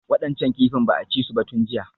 Waɗancan kifin ba a ci su ba tun jiya